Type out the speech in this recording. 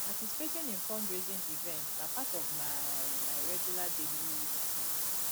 participating in fundraising events na part of my my regular daily routine